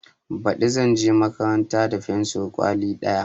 Baɗi zanje makaranta da fensur kwali ɗaya